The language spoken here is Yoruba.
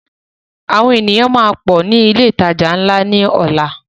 Àwọn ènìyàn máa pọ ní ilé ìtajà ńlá ni ọ̀la.